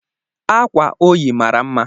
Akwa ọ yi mara mma